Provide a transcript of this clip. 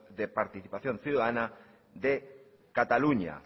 de participación ciudadana de cataluña